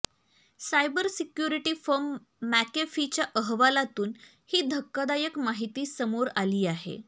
cyber security firm मॅकेफीच्या अहवालातून ही धक्कादायक माहिती समोर आली आहे